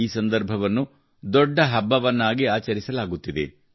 ಈ ಸಂದರ್ಭವನ್ನು ದೊಡ್ಡ ಹಬ್ಬವನ್ನಾಗಿ ಆಚರಿಸಲಾಗುತ್ತಿದೆ